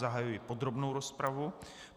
Zahajuji podrobnou rozpravu.